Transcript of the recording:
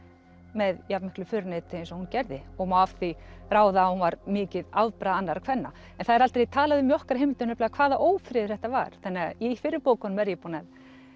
með jafnmiklu föruneyti eins og hún gerði má af því ráða að hún var mikið afbragð annarra kvenna það er aldrei talað um í okkar heimildum hvaða ófriður þetta var þannig að í fyrri bókunum er ég búin að